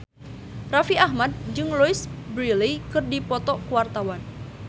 Raffi Ahmad jeung Louise Brealey keur dipoto ku wartawan